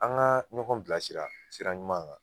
An ka ɲɔgɔn bilasira sira ɲuman kan